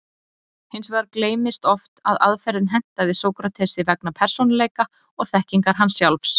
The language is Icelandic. Hins vegar gleymist oft að aðferðin hentaði Sókratesi vegna persónuleika og þekkingar hans sjálfs.